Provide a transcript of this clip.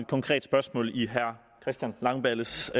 konkret spørgsmål i herre christian langballes